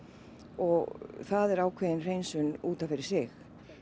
og það er ákveðin hreinsun út af fyrir sig